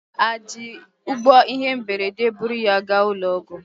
Ha ji ụgbọ ihe mberede buru ya gaa ụlọ ọgwụ?